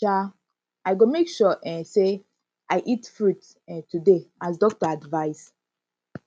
um i go make sure um sey i eat fruit um today as doctor advice